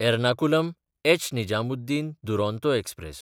एर्नाकुलम–एच.निजामुद्दीन Duronto express